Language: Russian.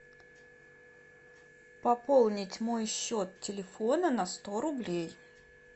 пополнить мой счет телефона на сто рублей